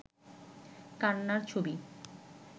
কান্নার ছবি